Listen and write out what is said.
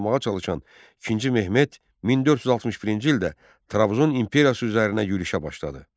olmaqğa çalışan İkinci Mehmet 1461-ci ildə Trabzon İmperiyası üzərinə yürüşə başladı.